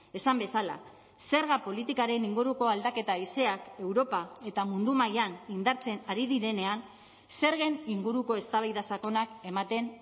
esan bezala zerga politikaren inguruko aldaketa haizeak europa eta mundu mailan indartzen ari direnean zergen inguruko eztabaida sakonak ematen